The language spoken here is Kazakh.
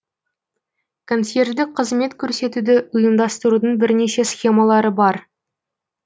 консьерждік қызмет көрсетуді ұйымдастырудың бірнеше схемалары бар